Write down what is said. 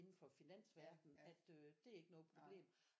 Indenfor finansverdenen at øh det er ikke noget problem